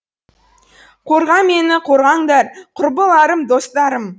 қорға мені қорғаңдар құрбыларым достарым